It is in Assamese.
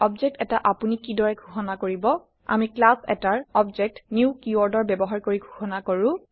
অবজেক্ট এটা আপোনি কি দৰে ঘোষণা কৰিব আমি ক্লাছ এটাৰ অবজেক্ট নিউ কিৱৰ্ডৰ ব্যৱহাৰ কৰি ঘোষণা কৰো